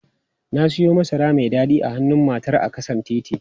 Na siyo masara mai dadi a hannun matar a ƙasan titi.